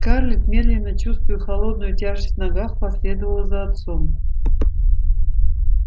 скарлетт медленно чувствуя холодную тяжесть в ногах последовала за отцом